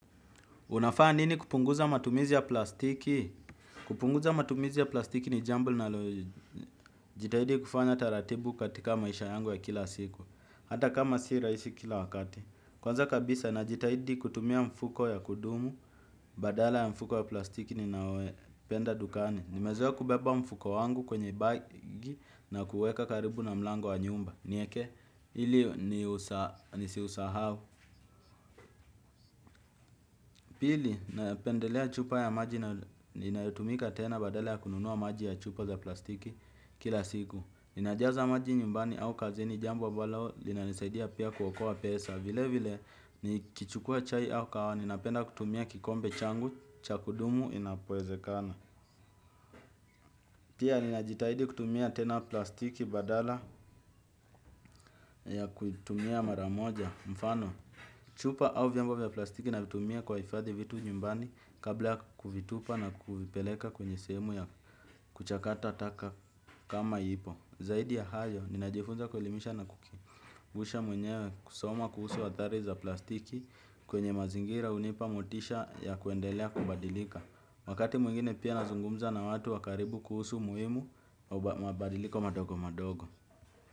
Unafanya nini kupunguza matumizi ya plastiki? Kupunguza matumizi ya plastiki ni jambo nalojitahidi kufanya taratibu katika maisha yangu ya kila siku. Hata kama si rahisi kila wakati. Kwanza kabisa na jitahidi kutumia mfuko ya kudumu, badala ya mfuko ya plastiki ni nayo penda dukani. Nimezoa kubeba mfuko wangu kwenye bagi na kuweka karibu na mlango wa nyumba. Nieke, hili ni si husahau. Pili, napendelea chupa ya maji na inayotumika tena badala ya kununua maji ya chupa za plastiki kila siku. Inajaza maji nyumbani au kazini jambo ambalo, lina nisaidia pia kuokoa pesa. Vile vile, ni kichukua chai au kahawa, ninapenda kutumia kikombe changu, chakudumu inapowezekana. Pia, ninajitahidi kutumia tena plastiki badala ya kutumia maramoja, mfano chupa au vyango vya plastiki na vitumia kuifadhi vitu nyumbani kabla kuvitupa na kupeleka kwenye sehemu ya kuchakata taka kama ipo. Zaidi ya hayo, ninajifunza kuelimisha na kukumbusha mwenyewe kusoma kuhusu wa athari za plastiki kwenye mazingira unipa motisha ya kuendelea kubadilika. Wakati mwingine pia nazungumza na watu wakaribu kuhusu muhimu, mabadiliko madogo madogo.